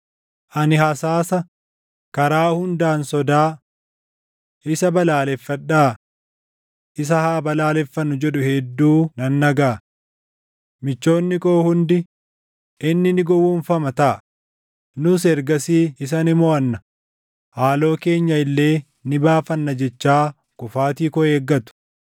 Ani hasaasa, “Karaa hundaan sodaa! Isa balaaleffadhaa! Isa haa balaaleffannu!” jedhu hedduu nan dhagaʼa. Michoonni koo hundi, “Inni ni gowwoomfama taʼa; nus ergasii isa ni moʼanna; haaloo keenya illee ni baafanna” jechaa kufaatii koo eeggatu.